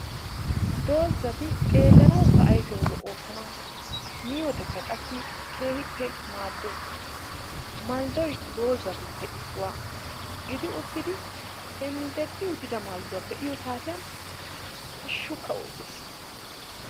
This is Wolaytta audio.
Doozati xeelanawukka ayfiyawu lo'oosona. Miyodekka qassi keehippe maaddoosona. Malddoyi doozatuppe issuwa gidi uttidi henddeddi uttida maldduwa be'iyo saatiyan hashshukka oottes.